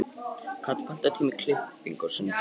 Kata, pantaðu tíma í klippingu á sunnudaginn.